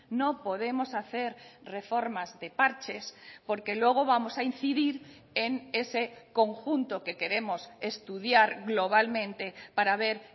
no podemos hacer reformas de parches porque luego vamos a incidir en ese conjunto que queremos estudiar globalmente para ver